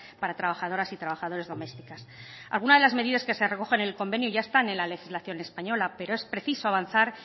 para trabajadoras y trabajadores domésticas algunas de las medidas que se recogen en el convenio ya están en la legislación española pero es preciso avanzar